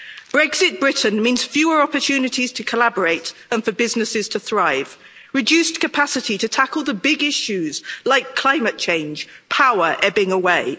Brexit Britain means fewer opportunities to collaborate and for businesses to thrive, reduced capacity to tackle the big issues like climate change, and power ebbing away.